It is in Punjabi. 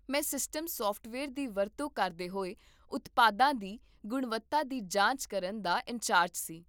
ਮੈਂ ਸਿਸਟਮ ਸੌਫਟਵੇਅਰ ਦੀ ਵਰਤੋਂ ਕਰਦੇ ਹੋਏ ਉਤਪਾਦਾਂ ਦੀ ਗੁਣਵੱਤਾ ਦੀ ਜਾਂਚ ਕਰਨ ਦਾ ਇੰਚਾਰਜ ਸੀ